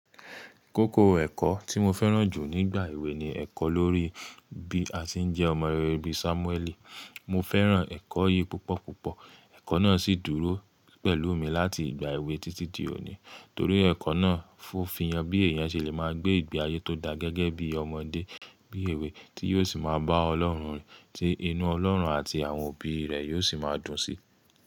Kókó ẹ̀kọ́ tí mo fẹ́ràn jù nígbà èwe ni ẹ̀kọ́ lórí bí a ṣe ń jẹ́ ọmọ rere bí Sámúẹ́lì. Mo fẹ́ràn ẹ̀kọ́ yìí púpọ̀ púpọ̀. Ẹ̀kọ́ náà sì dúró pẹ̀lú mi láti ìgbà èwe títí di òní. Torí ẹ̀kọ́ náà fí han bí èèyàn ṣe le máa gbé ìgbé ayé tó da gẹ́gẹ́ bí ọmọdé, bí èwe tí yóò sì máa bá Ọlọ́run, tí inú Ọlọ́run àti àwọn òbí rẹ̀ yóò sì máa dùn sí.